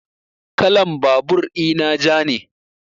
Kalan babur ina ja ne